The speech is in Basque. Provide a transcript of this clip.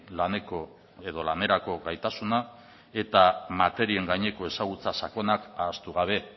laneko edo lanerako gaitasuna eta materien gaineko ezagutza sakona ahaztu gabe